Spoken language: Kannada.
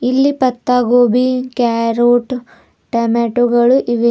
ಇಲ್ಲಿ ಪತ್ತ ಗೋಬಿ ಕ್ಯಾರೋಟ್ ಟೊಮೆಟೊಗಳು ಇವೆ.